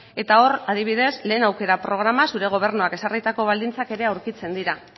hor adibidez lehen aukera programan zure gobernuak ezarritako baldintzak ere aurkitzen dira